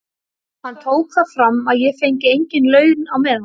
Hann tók það fram að ég fengi engin laun á meðan.